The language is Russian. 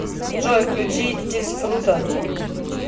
джой включи дисфруто